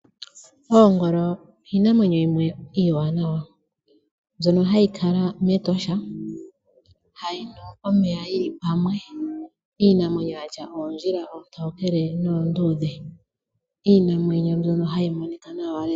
Oongolo iinamwenyo yimwe iiwanawa mbyono hayi kala mEtosha, hayi nu omeya yili pamwe. Iinamwenyo yatya oondjila oontokele noonduudhe.